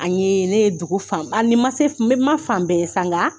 An ye ne ye dugu fan bɛɛ ni n ma se n ma fan bɛɛ ye sa nka